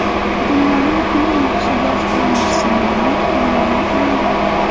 Dunyoning eng yaxshi yosh o‘yinchisi nomi ma’lum qilindi.